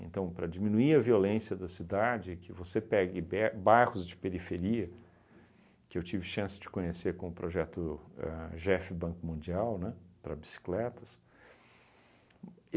Então, para diminuir a violência da cidade, que você pegue be bairros de periferia, que eu tive chance de conhecer com o projeto ahn Jefe Banco Mundial, né, para bicicletas. Uhm